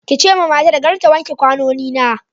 ki ce ma matar kar ta wanke ƙwanoni na.